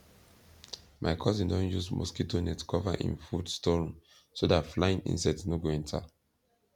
my cousin don use mosquito net cover him food store room so that flying insect no go enter